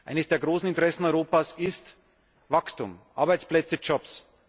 Eines der großen Interessen Europas ist Wachstum und Arbeitsplätze Jobs.